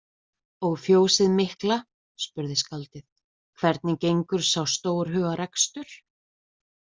Og fjósið mikla, spurði skáldið, hvernig gengur sá stórhuga rekstur?